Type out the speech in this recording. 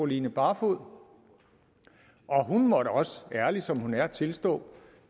line barfoed og hun måtte også ærlig som hun er tilstå